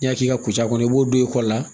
N'i y'a k'i ka ca kɔnɔ i b'o don i kɔ la